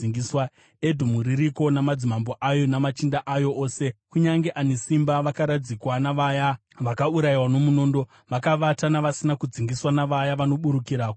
“Edhomu iriko namadzimambo ayo namachinda ayo ose; kunyange ane simba, vakaradzikwa navaya vakaurayiwa nomunondo. Vakavata navasina kudzingiswa, navaya vanoburukira kugomba.